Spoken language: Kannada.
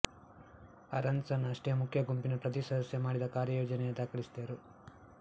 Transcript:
ಆರನ್ಸನ್ ಅಷ್ಟೇ ಮುಖ್ಯ ಗುಂಪಿನ ಪ್ರತಿ ಸದಸ್ಯ ಮಾಡಿದ ಕಾರ್ಯಯೋಜನೆಯು ದಾಖಲಿಸಿದವರು